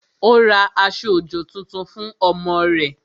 Ó ra aṣọ-òjò tuntun fún ọmọ rẹ̀